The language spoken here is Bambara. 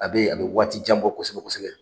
A bɛ yen a bɛ waati jan bɔ kosɛbɛ kosɛbɛ/